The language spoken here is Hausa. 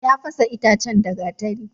Ya fasa itacen da gatari.